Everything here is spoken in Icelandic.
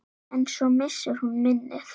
En svo missir hún minnið.